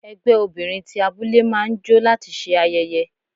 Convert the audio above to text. Ẹgbẹ́ obìnrin ti abúlé máa ń jó láti ṣe ayẹyẹ.